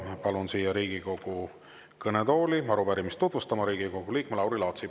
Palun siia Riigikogu kõnetooli arupärimist tutvustama Riigikogu liikme Lauri Laatsi.